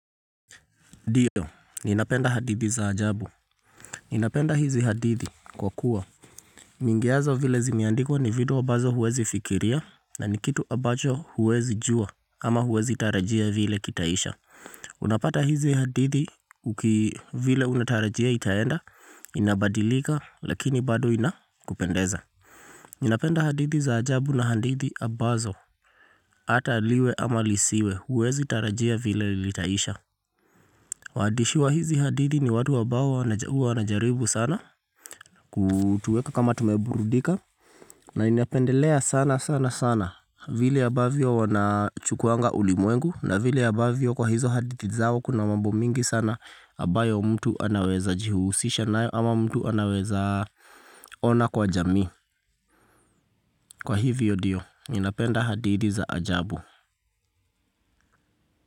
Dido, ninapenda hadithi za ajabu. Ninapenda hizi hadithi kwa kuwa. Nyingi yazo vile zimendikwa ni vitu ambazo huwezi fikiria na ni kitu ambacho huwezi jua ama huwezi tarajia vile kitaisha. Unapata hizi hadithi uki vile unatarajia itaenda, inabadilika lakini bado inakupendeza. Ninapenda hadithi za ajabu na hadithi ambazo. Ata liwe ama lisiwe, huwezi tarajia vile ilitaisha. Wadishi wa hizi hadithi ni watu ambao wana ua wanajaribu sana Kutueka kama tumeburudika na inependelea sana sana sana Vili abavyo wanachukuanga ulimwengu na vili abavyo kwa hizo hadidi zao kuna mambo mingi sana Abayo mtu anaweza jihusisha nayo ama mtu anaweza ona kwa jamii Kwa hivyo dio, inapenda hadithi za ajabu.